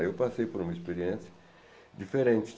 Aí eu passei por uma experiência diferente.